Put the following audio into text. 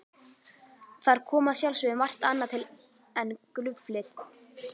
Þar kom að sjálfsögðu margt annað til en gruflið.